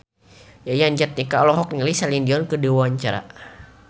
Yayan Jatnika olohok ningali Celine Dion keur diwawancara